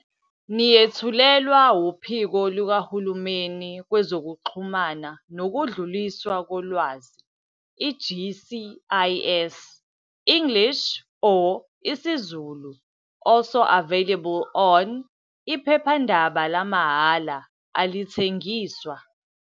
Niyethulelwa WuPhiko likaHulumeni Kwezokuxhumana Nokudluliswa Kolwazi, i-GCIS, English or isiZulu. ALSO AVAILABLE ON-IPHEPHANDABA LAMAHHALA, ALITHENGISWA